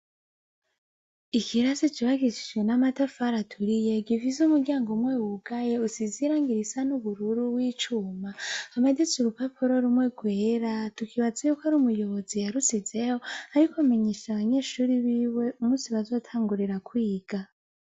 Ikirase cubakishijwe n'amatafari aturiye, gifise umuryango umwe wugaye, usize irangi risa n'ubururu w'icuma; hamanitse urupapuro rumwe rwera, tukibaza ko ari umuyobozi yarushizeho, ariko amenyesha abanyeshure biwe umunsi bazotangurira kwiga.